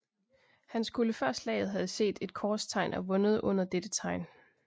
Han skulle før slaget have set et korstegn og vundet under dette tegn